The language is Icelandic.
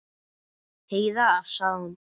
Heiða, sagði hún.